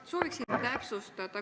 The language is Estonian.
Ma soovin täpsustada.